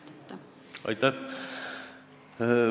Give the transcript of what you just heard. Aitäh!